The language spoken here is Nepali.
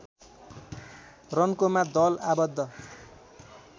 रन्कोमा दल आबद्ध